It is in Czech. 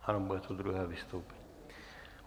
Ano, bude to druhé vystoupení.